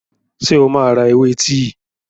Ṣé o máa ra ewé tíì?